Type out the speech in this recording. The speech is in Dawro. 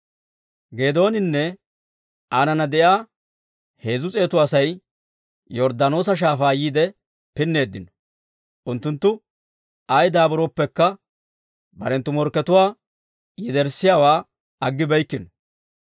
Geedooninne aanana de'iyaa heezzu s'eetu Asay Yorddaanoosa Shaafaa yiide pinneeddino; unttunttu ay daaburooppekka, barenttu morkkatuwaa yederssiyaawaa aggibeykkino.